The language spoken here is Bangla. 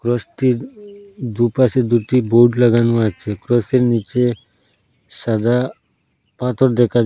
ক্রসটির দুপাশে দুটি বোর্ড লাগানো আছে ক্রসের নীচে সাদা পাথর দেখা যা--